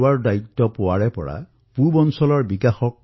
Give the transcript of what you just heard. পূব ভাৰতৰ বিকাশৰ দ্বাৰাই দেশৰ সন্তুলিত আৰ্থিক বিকাশ সম্ভৱ